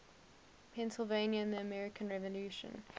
pennsylvania in the american revolution